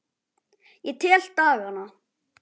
Ég tel dagana.